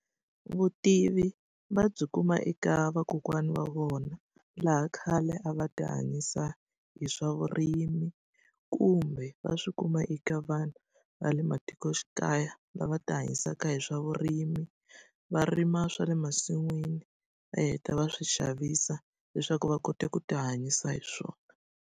Vutivi va byi kuma eka vakokwana wa vona, laha khale a va tihanyisa hi swa vurimi. Kumbe va swi kuma eka vanhu va le matikoxikaya, lava tihanyisaka hi swa vurimi. Va rima swa le masin'wini va heta va swi xavisa leswaku va kota ku tihanyisa hi swona.